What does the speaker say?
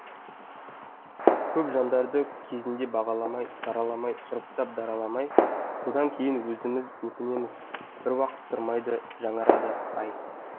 көп жандарды кезінде бағаламай сараламай сұрыптап дараламай содан кейін өзіміз өкінеміз бірақ уақыт тұрмайды жаңарады ай